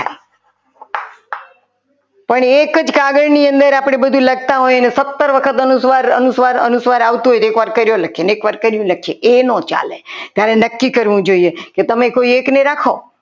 પણ એક જ કાગળ ની અંદર આપણે બધું લખતા હોય અને સત્તર વખત અનુસ્વાર અનુસ્વાર અનુસ્વાર આવતું હોય તો એકવાર કર્યો લખીએ અને એકવાર કરી લખીએ તો એ ના ચાલે ત્યારે નક્કી કરવું જોઈએ કે તમે કોઈ એકને રાખો.